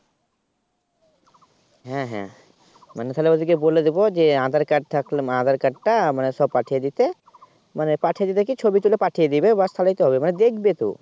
হ্যাঁ হ্যাঁ মানে তাহলে ওদিকে বলে দেবো যে Aadhaar Card থাকলে বা Aadhaar Card টা সহ পাঠিয়ে দিতে মানে পাঠিয়ে দিতে কি ছবি তুলে পাঠিয়ে দেবে ব্যাস তাহলেই তো হবে মানে দেখবে তো